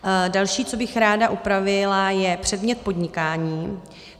Další, co bych ráda upravila, je předmět podnikání.